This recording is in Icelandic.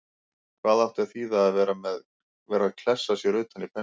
Hvað átti að þýða að vera að klessa sér utan í pensilinn!